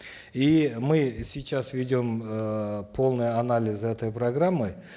и мы сейчас ведем эээ полный анализ этой программы